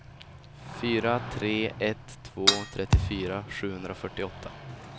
fyra tre ett två trettiofyra sjuhundrafyrtioåtta